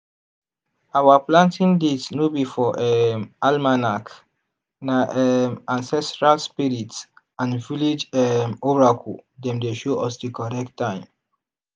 our planting date no be for um almanac na um ancestral spirit and village um oracle dem dey show us di correct time.